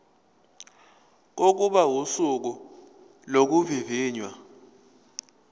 kokuba usuku lokuvivinywa